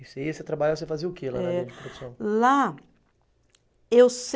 E você ia, você trabalhava, você fazia o que lá na linha de produção? Lá eu